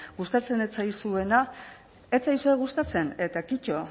gustatzen ez zaizuena ez zaizue gustatzen eta kitto